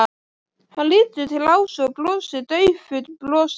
Hann lítur til Ásu og brosir daufu brosi.